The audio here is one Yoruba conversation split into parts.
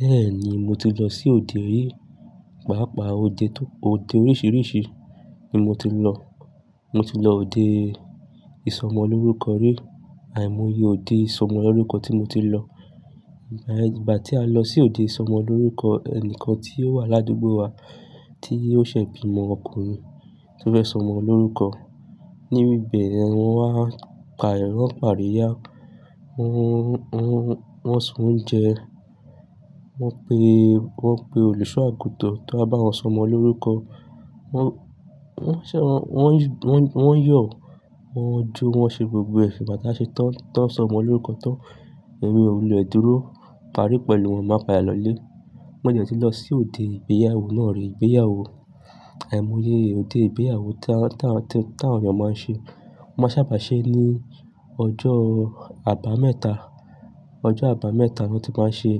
Bẹ́ẹ̀ni, mo ti lọ sí òde rìí, pàápàá òde tó-- òde oríṣìíríṣìí ni mo ti lọ. Mo ti lọ òde ìsọmọlórúkọ rí. Àìmọye òde ìsọmọlórúkọ tí mo ti lọ, ìgbà, ìgbà tí a lọ sí òde ìsọmọlórúkọ, ẹnìkan tí ó wà ládùúgbò wa tí ó ṣẹ̀ bí ìmọ ọkùnrin tó fẹ́ sọmọ lórúkọ. Ní ibẹ̀ ni wọ́n á pa ẹ̀rọ̀, wọ́n ń paríyá, wọ́n, wọ́n, wọ́n sún oúnjẹ, wọ́n pe, wọ́n pe olùṣọ àgùntàn tó bá wọ́n sọmọ lórúkọ. Wọ́n, wọ́n ṣẹ̀ wọ́n, wọ́n, wọ́n yọ̀, wọ́n jó, wọ́n ṣe gbogbo ẹ̀ igbà tà ṣe tán, tí wọ́n sọmọ lórúkọ tán. Ẹ̀mi o wùlè dúró parí pẹ̀lú wọn, máa padà lọlé. Mo ní ò ti lọ sí òde ìgbéyàwó náà rí. Ìgbéyàwó, àìmọye òde ìgbéyàwó tá, tá, tí àwọn ènìyàn máa ń ṣe. Wọ́n máa ń sábà ṣe ẹ́ ní ọjọ́ àbámẹ́ta. Ọjọ́ àbámẹ́ta ni wọ́n ti máa ṣe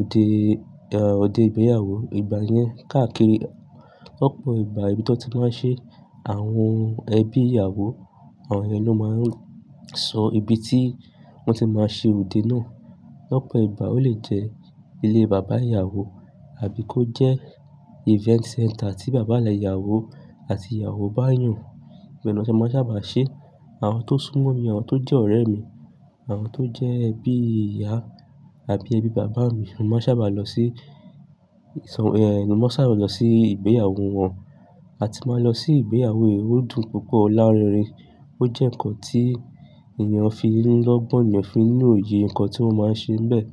òde, ẹ̀, òde ìgbéyàwó. Igba yẹn, káàkiri lọ́pọ̀ ìgbà, ibi tí wọn ti máa ṣe, àwọn ẹbí ìyàwó, àwọn ẹni ló máa ń sọ ibi tí wọ́n ti máa ṣe òde náà. Lọ́pọ̀ ìgbà ó lè jẹ́ ilé bàbá ìyàwó àbí kó jẹ́ event centre tí bàbá ìyàwó àti ìyàwó bá yàn. Ìbẹ́ni wọ́n ṣe wọ́n sábà ṣe. Àwọn tó súnmọ́ mi, àwọn tó jẹ́ ọ̀rẹ́ mi, àwọn tó jẹ́ ẹbí ìyá àbí ẹbí bàbá mi ló máa ń sábà lọ sí ìsọ-- ẹ́, ni wọ́n sábà lọ sí ìgbéyàwó wọn. A ti máa lọ sí ìgbéyàwó odún púpọ̀ o láàárínrin, ó jẹ́ nǹkan tí ènìyàn fi nílọ́, ogbọ́n ènìyàn fín ni òye, nǹkan tí wọ́n máa ń ṣe bẹ́ẹ̀.